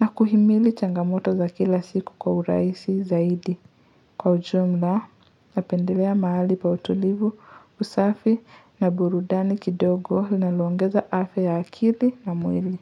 na kuhimili changamoto za kila siku kwa urahisi zaidi. Kwa ujumla, napendelea mahali pa utulivu, usafi na burudani kidogo lina loongeza afya ya akili na mwili.